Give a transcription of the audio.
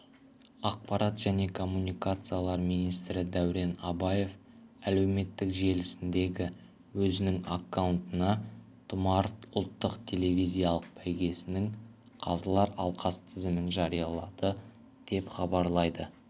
ақпарат және коммуникациялар министрі дәурен абаев әлеуметтік желісіндегі өзінің аккаунтына тұмар ұлттық телевизиялық бәйгесінің қазылар алқасы тізімін жариялады деп хабарлайды